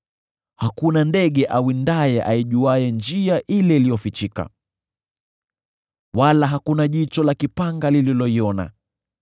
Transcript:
Hakuna ndege awindaye aijuaye njia ile iliyofichika, wala hakuna jicho la mwewe lililoiona.